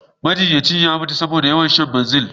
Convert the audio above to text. Majinyacin ya mutu ne saboda yawan shan Banzel.